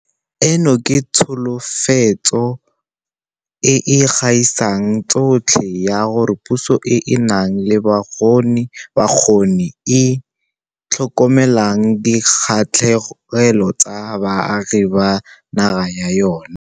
Eno ke tsholofetso e e gaisang tsotlhe ya gore puso e e nang le bokgoni e e tlhokomelang dikgatlhegelo tsa baagi ba naga ya yona.